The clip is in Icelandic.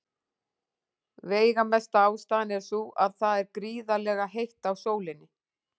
Veigamesta ástæðan er sú að það er gríðarlega heitt á sólinni.